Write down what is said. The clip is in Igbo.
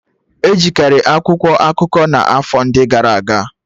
Ejikari akwụkwọ akụkọ n'afọ ndị gara aga